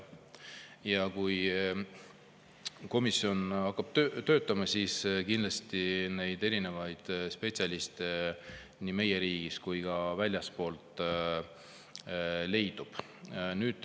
Ja kui komisjon hakkab töötama, siis kindlasti neid spetsialiste nii meie riigis kui ka väljaspool leidub.